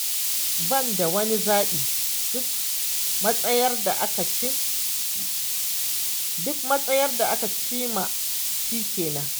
Ni ban da wani zaɓi, duk matsayar da aka cin ma shi kenan.